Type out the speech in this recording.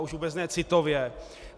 A už vůbec ne citově.